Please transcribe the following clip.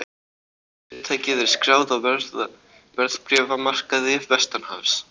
Fyrirtækið er skráð á verðbréfamarkaði vestanhafs